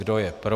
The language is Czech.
Kdo je pro?